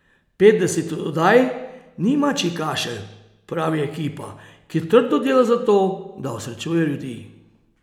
Petdeset oddaj ni mačji kašelj, pravi ekipa, ki trdo dela za to, da osrečuje ljudi.